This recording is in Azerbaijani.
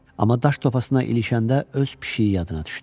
Amma daş topasına ilişəndə öz pişiyi yadına düşdü.